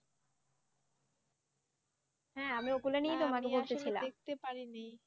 হ্যাঁ আমি ওগুলা